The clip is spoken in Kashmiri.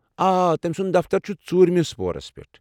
آ، تٔمۍ سُنٛد دفتر چھُ ژوٗرِمِس پورس پٮ۪ٹھ ۔